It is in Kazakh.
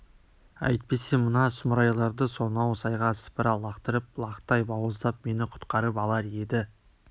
әйтпесе мына сұмырайларды сонау сайға сыпыра лақтырып лақтай бауыздап мені құтқарып алар еді